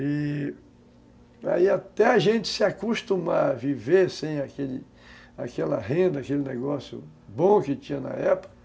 E aí até a gente se acostumar a viver sem aquele, aquela renda, aquele negócio bom que tinha na época,